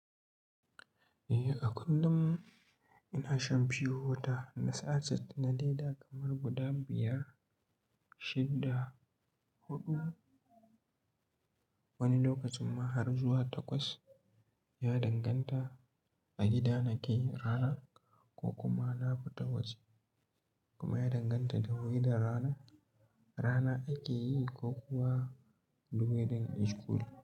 Eh, a kullum ina shan biyu wata, na sachet da na laida kamar guda biyar, shidda, huɗu. Wani lokacin ma har zuwa takwas. Ya danganta a gida nake rana ko kuma na fita waje, kuma ya danganta da wuri da rana rana ake yi ko kuwa ruwaye da ishkul.